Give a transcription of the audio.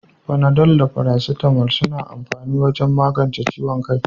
Panadol da paracetamol suna amfani wajen magance ciwon kai.